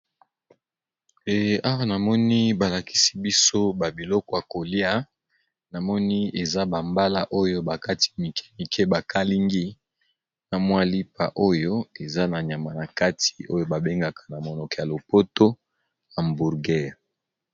Awa namoni balakisi biso babiloko ya kolia .Na moni eza bambala oyo bakati mikemike bakalingi na mwalipa oyo eza na nyama na kati oyo babengaka na monoko ya lopoto hamburgare.